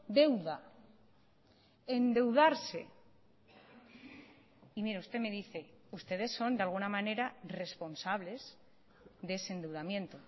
deuda endeudarse y mire usted me dice ustedes son de alguna manera responsables de ese endeudamiento